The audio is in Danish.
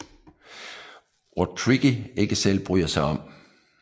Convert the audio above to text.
Ord Tricky ikke selv bryder sig om